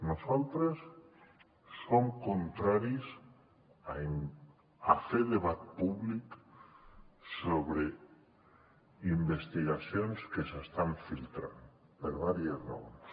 nosaltres som contraris a fer debat públic sobre investigacions que s’estan filtrant per diverses raons